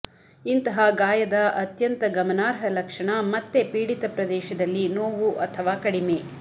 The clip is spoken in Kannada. ಇಂತಹ ಗಾಯದ ಅತ್ಯಂತ ಗಮನಾರ್ಹ ಲಕ್ಷಣ ಮತ್ತೆ ಪೀಡಿತ ಪ್ರದೇಶದಲ್ಲಿ ನೋವು ಅಥವಾ ಕಡಿಮೆ